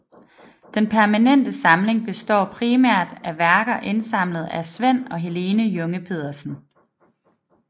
Den permanente samling består primært af værker indsamlet af Svend og Helene Junge Pedersen